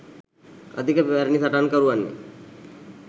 අධික පැරණි සටන්කරුවන්ය